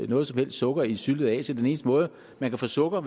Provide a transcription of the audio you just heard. noget som helst sukker i syltede asier den eneste måde man kan få sukker